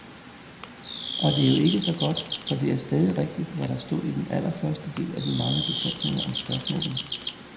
Og det er jo ikke så godt, for det er stadig rigtigt, hvad der stod i den allerførste af de mange betænkninger om spørgsmålet.